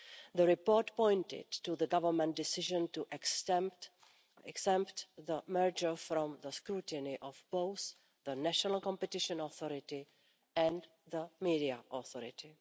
The report pointed to the government decision to exempt the merger from the scrutiny of both the National Competition Authority and the Media Authority.